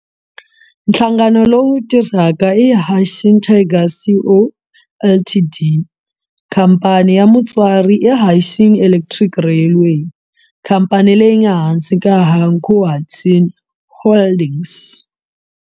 Nhlangano lowu tirhaka i Hanshin Tigers Co, Ltd. Khamphani ya mutswari i Hanshin Electric Railway, khamphani leyi nga ehansi ka Hankyu Hanshin Holdings.